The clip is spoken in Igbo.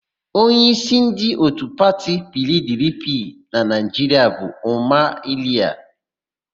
Onyeísí ndị òtù pati PIiDIiPIi na Naịjiria bụ Ụma Iliya.